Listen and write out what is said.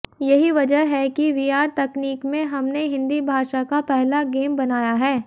यही वजह है कि वीआर तकनीक में हमने हिन्दी भाषा का पहला गेम बनाया है